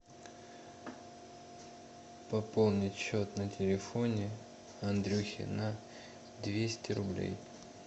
пополнить счет на телефоне андрюхе на двести рублей